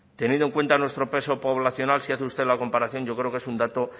teniendo en cuenta nuestro peso poblacional si hace usted la comparación yo creo que es un dato